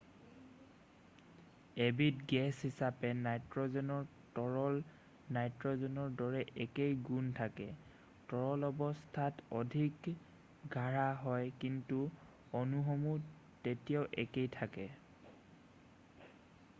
এবিধ গেছ হিচাপে নাইট্ৰ'জেনৰ তৰল নাইট্ৰ'জেনৰ দৰে একেই গুণ থাকে৷ তৰল অৱস্থা অধিক গাঢ় হয় কিন্তু অণুসমূহ তেতিয়াও একেই থাকে৷